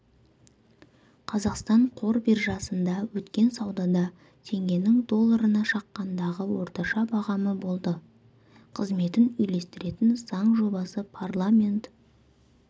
қазақстан қор биржасында өткен саудада теңгенің долларына шаққандағы орташа бағамы болды қызметін үйлестіретін заң жобасы парламент